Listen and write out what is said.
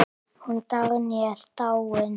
Hún Dagný er dáin.